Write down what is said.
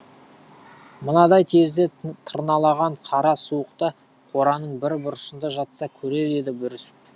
мынадай терезе тырналаған қара суықта қораның бір бұрышында жатса көрер еді бүрісіп